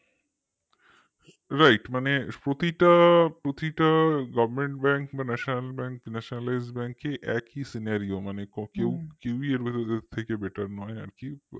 right মানে প্রতিটা প্রতিটা government bank বা national bank nationalized bank ই একই scenario মানে কেউ কেউই এর ভেতর নাই আরকি